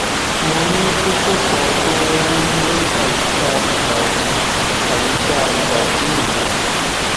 mo ní kókó kan tó ń wú ní àyíká ìbàdí àyíká ìbàdí mi